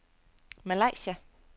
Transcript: Malaysia